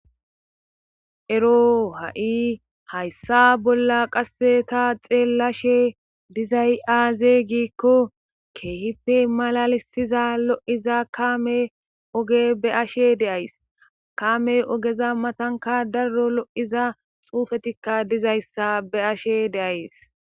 Ero ha'i hayssa bolla qasse ta xeellashe dizay aaze giikko keehipe malalistiza lo7iza kaame oge be ashe deays kame ogeza matanka daro lo7iza xuufetikka dizayssa be'ashe deays